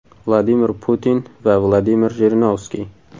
Vladimir Putin va Vladimir Jirinovskiy.